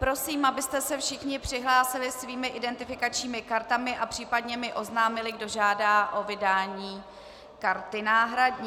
Prosím, abyste se všichni přihlásili svými identifikačními kartami a případně mi oznámili, kdo žádá o vydání karty náhradní.